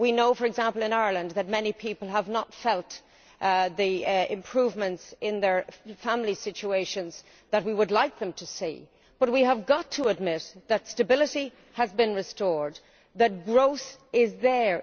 For example, in Ireland we know that many people have not seen the improvements in their family situations that we would like them to see, but we have got to admit that stability has been restored and that growth is there.